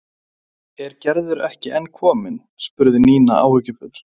Er Gerður ekki enn komin? spurði Nína áhyggjufull.